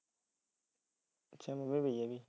ਤੈਨੂੰ ਕਿਹਾ ਪੈ ਜਾ ਬਾਈ